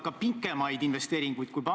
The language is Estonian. Kui peaminister kuulaks, siis esitaksin ka küsimuse.